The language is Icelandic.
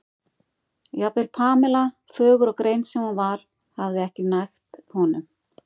jafnvel Pamela, fögur og greind sem hún var, hafði ekki nægt honum.